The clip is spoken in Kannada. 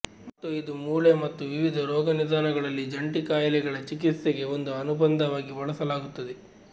ಮತ್ತು ಇದು ಮೂಳೆ ಮತ್ತು ವಿವಿಧ ರೋಗನಿದಾನಗಳಲ್ಲಿ ಜಂಟಿ ಕಾಯಿಲೆಗಳ ಚಿಕಿತ್ಸೆಗೆ ಒಂದು ಅನುಬಂಧವಾಗಿ ಬಳಸಲಾಗುತ್ತದೆ